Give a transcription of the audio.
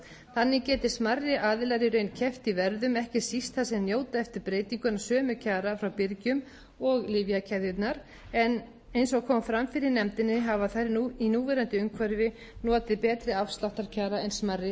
þannig geti smærri aðilar í raun keppt í verðum ekki síst þar sem þeir njóta eftir breytinguna sömu kjara frá byrgjum og lyfjakeðjurnar en eins og kom fram fyrir nefndinni hafa þær í núverandi umhverfi notið betri afsláttarkjara en smærri